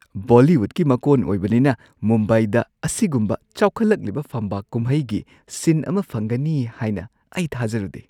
ꯕꯣꯂꯤꯋꯨꯗꯀꯤ ꯃꯀꯣꯟ ꯑꯣꯏꯕꯅꯤꯅ ꯃꯨꯝꯕꯥꯏꯗ ꯑꯁꯤꯒꯨꯝꯕ ꯆꯥꯎꯈꯠꯂꯛꯂꯤꯕ ꯐꯝꯕꯥꯛ ꯀꯨꯝꯍꯩꯒꯤ ꯁꯤꯟ ꯑꯃ ꯐꯪꯒꯅꯤ ꯍꯥꯏꯅ ꯑꯩ ꯊꯥꯖꯔꯨꯗꯦ꯫